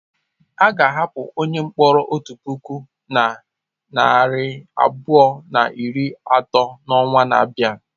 A ga-ahapụ onye mkpọrọ otu puku na narị abụọ na iri atọ n'ọnwa na-abịa.